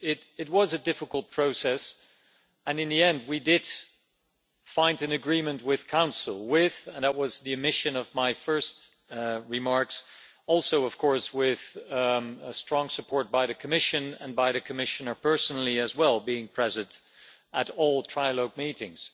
It was a difficult process and in the end we did find an agreement with Council that was the mission of my first remarks also with strong support from the Commission and the Commissioner personally as well, being present at all trilogue meetings.